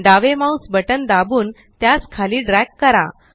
डावे mouse button दाबून त्यास खाली ड्रॅग करा